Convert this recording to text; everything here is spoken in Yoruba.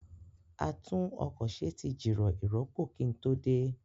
A tún ọkọ̀ ṣe tí jìrọ̀ ìrọpo kí n tó dé